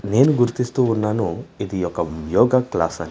నేను గుర్తిస్తూ ఉన్నాను ఇది ఒక యోగ క్లాస్ అని.